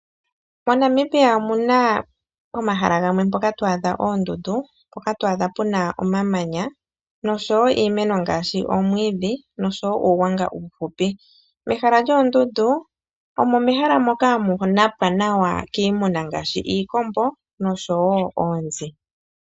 MoNamibia omuna pomahala gamwe mpoka to adha oondundu, mpoka to adha pu na omamanya nosho woo iimeno ngaashi omwiidhi nosho woo uugwanga uuhupi. Mehala lyoondundu omo mehala moka hamu napwa nawa kiimuna ngaashi iikombo nosho woo oonzi.